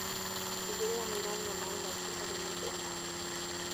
Tigĩrĩra nĩũranyua maĩ maingĩ harĩ mũthenya